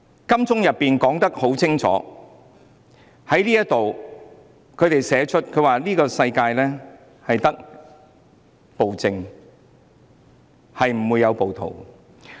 金鐘的牆壁已清楚寫上：這個世界只有暴政，沒有暴徒。